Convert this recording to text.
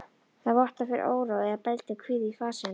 Það vottar fyrir óró eða bældum kvíða í fasi hennar.